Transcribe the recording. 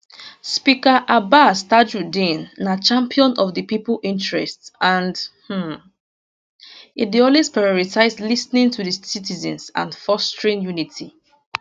speaker abbas tajudeen na champion of di pipo interests and um e dey always prioritize lis ten ing to di citizens and fostering unity